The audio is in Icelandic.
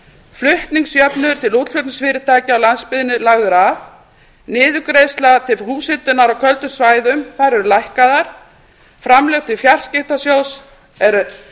flutningsjöfnuður til útflutningsfyrirtækja á landsbyggðinni er lagður af niðurgreiðsla til húshitunar á köldum svæðum þær eru lækkaðar framlög til fjarskiptasjóðs eru